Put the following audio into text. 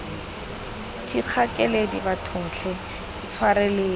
thikga keledi bathong tlhe intshwareleng